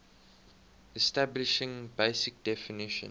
establishing basic definition